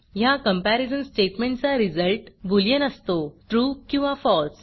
ह्या कम्पॅरिझन स्टेटमेंटचा result boolean असतो trueट्रू किंवा falseफॉल्स